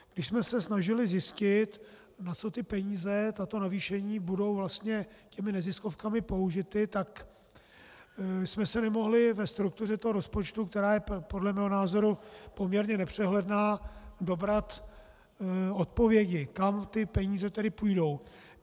Když jsme se snažili zjistit, na co ty peníze, tato navýšení, budou vlastně těmi neziskovkami použity, tak jsme se nemohli ve struktuře toho rozpočtu, která je podle mého názoru poměrně nepřehledná, dobrat odpovědi, kam ty peníze tedy půjdou.